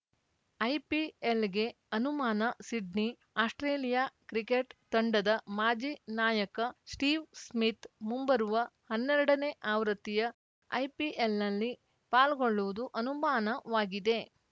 ಐಪಿಎಲ್‌ಗೆ ಅನುಮಾನ Sydney Australia cricket ತಂಡದ ಮಾಜಿ ನಾಯಕ ಸ್ಟೀವ್‌ ಸ್ಮಿತ್‌ ಮುಂಬರುವ ಹನ್ನೆರಡನೇ ಆವೃತ್ತಿಯ ಐಪಿಎಲ್‌ನಲ್ಲಿ ಪಾಲ್ಗೊಳ್ಳುವುದು ಅನುಮಾನವಾಗಿದೆ